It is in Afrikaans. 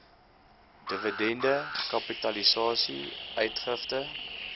dividende kapitalisasie uitgifte